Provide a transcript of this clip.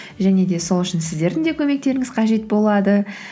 және де сол үшін сіздердің де көмектеріңіз қажет болады